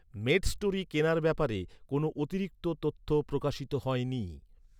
Medstory কেনার ব্যাপারে কোনও অতিরিক্ত তথ্য প্রকাশিত হয়নি।